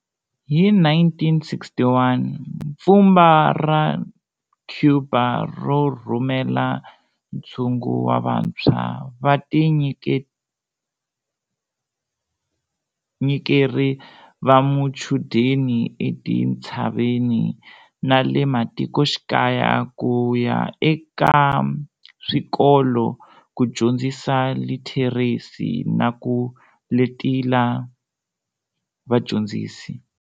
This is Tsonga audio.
Hi 1961, mpfhumba ra Cuba ro rhumela ntshungu wa vantshwa va vatinyikeri va machudeni etintshaveni na le matikoxikaya ku ya aka swikolo, ku dyondzisa litheresi na ku letela vadyondzisi.